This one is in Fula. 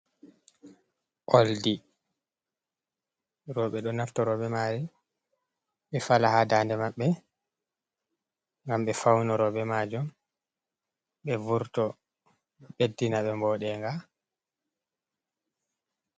Oldi, roɓe ɗo nafta roɓe mari ɓe fala ha dande maɓɓe ngam ɓe faunoro be majum ɓe vurto, ɓeddina ɓe boɗenga.